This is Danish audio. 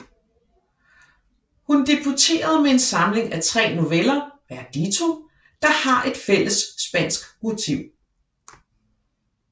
Hun debuterede med en samling af tre noveller Verdito der har et fælles spansk motiv